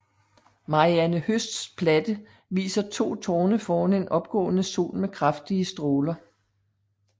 Marianne Høsts platte viser to tårne foran en opgående sol med kraftige stråler